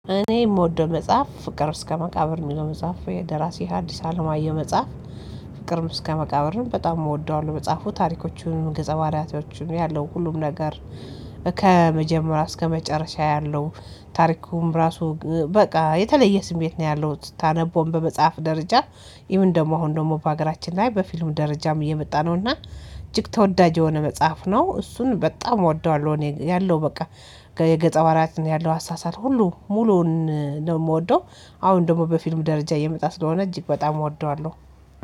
እኔ እምወደው መጽሐፍ ፍቅር እስከ መቃብር እሚለው መጽሐፍ የደራሲ አዲስ አለማየሁ መጽሐፍ። ፍቅርም እስከ መቃብርም በጣም እወደዋለሁ መጽሐፉ ታሪኮቹንም ገጸ ባህሪያቶቹንም ያለው ሁሉም ነገር ከመጀመሪያ እስከ መጨረሻ ያለው ታሪኩን ራሱ በቃ የተለየ ስሜት ነው ያለው ስታነበውም በመጽሐፍ ደረጃ። ኢቭን ደግሞ አሁን ደግሞ በሀገራችን ላይ በፊልም ደረጃም እየመጣ ነውና እጅግ ተወዳጅ የሆነ መጽሐፍ ነው። እሱን በጣም እወደዋለሁ። እኔ ያለው በቃ የገፀ ባህሪያትን ያለው አሳሳት ሁሉ ሙሉውን ነው እምወደው። አሁን ደግሞ በፊልም ደረጃ እየመጣ ስለሆነ እጅግ በጣም እወደዋለሁ።